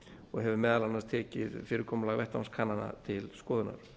og hefur meðal annars tekið fyrirkomulag vettvangskannana til skoðunar